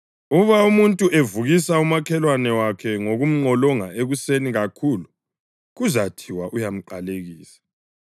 Uba umuntu evukisa umakhelwane wakhe ngokumnqolonga ekuseni kakhulu, kuzathiwa uyamqalekisa.